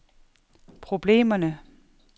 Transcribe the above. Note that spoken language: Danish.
problemerne